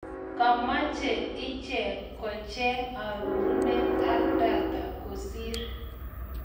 kamache ichegenkocheng arorunet ak data kosir.